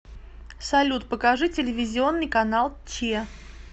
салют покажи телевизионный канал че